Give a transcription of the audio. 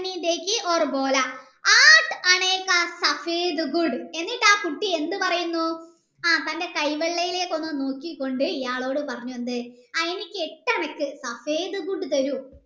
എന്നിട് ആ കുട്ടി എന്ത് പറയുന്നു ആ തൻ്റെ കൈ വള്ളയിലേക്ക് നോക്കികൊണ്ട്‌ ഇയാളോട് പറഞ്ഞു എന്ത് ആ എനിക്ക് എട്ടണക്ക് തരു